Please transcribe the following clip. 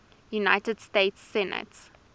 united states senate